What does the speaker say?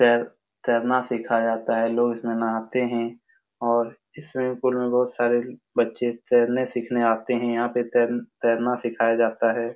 तैर तैरना सिखाया जाता है लोग इसमें नाहते हैं और इस स्विमिंग पूल में बोहोत सारे बच्चे तैरने सिखने आते हैं यहाँ पे तैर तैरना सिखाया जाता हैं।